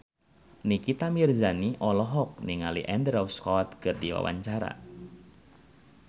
Nikita Mirzani olohok ningali Andrew Scott keur diwawancara